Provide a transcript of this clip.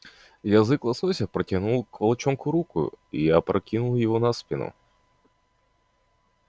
язык лосося протянул к волчонку руку и опрокинул его на спину